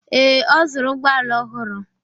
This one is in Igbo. Ee, ọ zụrụ ụgbọala ọhụrụ.